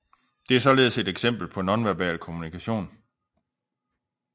Det er således et eksempel på nonverbal kommunikation